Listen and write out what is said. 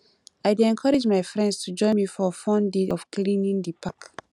i dey encourage my friends to join me for fun day of cleaning di park